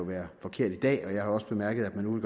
være forkert i dag og jeg har da også bemærket at man nu